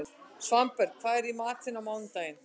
Svanberg, hvað er í matinn á mánudaginn?